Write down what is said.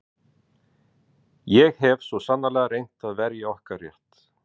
Ég hef svo sannarlega reynt að verja okkar rétt.